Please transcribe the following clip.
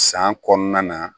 San kɔnɔna na